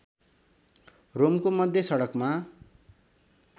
रोमको मध्य सडकमा